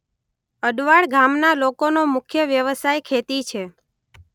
અડવાળ ગામના લોકોનો મુખ્ય વ્યવસાય ખેતી છે.